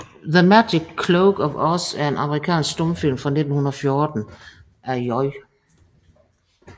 The Magic Cloak of Oz er en amerikansk stumfilm fra 1914 af J